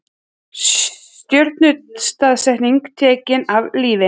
Stjórnarandstæðingar teknir af lífi